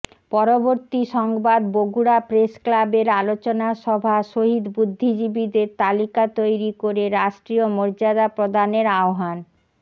পরবর্তী সংবাদ বগুড়া প্রেসক্লাবের আলোচনা সভা শহীদ বুদ্ধিজীবীদের তালিকা তৈরী করে রাষ্ট্রিয় মর্যাদা প্রদানের আহবান